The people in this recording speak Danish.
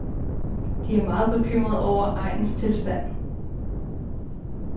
De er meget bekymrede over egenes tilstand.